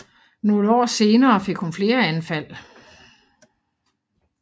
Nogle år senere fik hun flere anfald